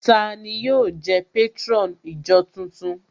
Tani yóò jẹ́ patron ìjọ tuntun?